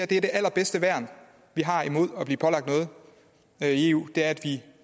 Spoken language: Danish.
det allerbedste værn vi har imod at blive pålagt noget af eu er at vi